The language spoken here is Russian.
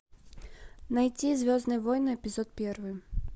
найти звездные войны эпизод первый